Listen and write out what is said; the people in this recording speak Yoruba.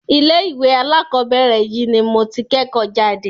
ilé ìwé alákọ̀berẹ̀ yìí ni mo tí kẹ́kọ̀ọ́ jáde.